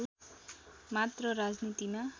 मात्र राजनीतिमा